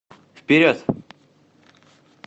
вперед